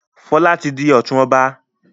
Fola tí dì òtún ọba.